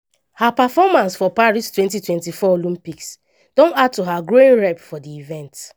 her performance for paris 2024 olympics don add to her growing rep for di events.